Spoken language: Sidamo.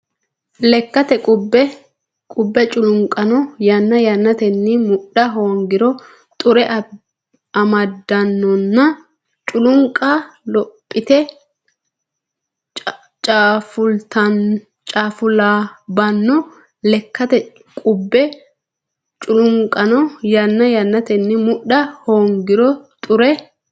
Lekkate qubbe culunqano yanna yannate mudha hoongiro xure amaddannonna culunqa lophite caafulaabbanno Lekkate qubbe culunqano yanna yannate mudha hoongiro xure.